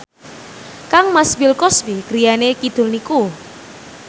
kangmas Bill Cosby griyane kidul niku